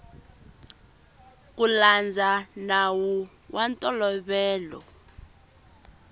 ku landza nawu wa ntolovelo